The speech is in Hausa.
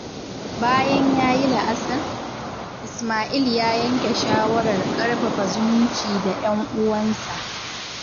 Bayan ya yi la’asar, Isma'il ya yanke shawarar ƙarfafa zumunci da 'yan'uwansa.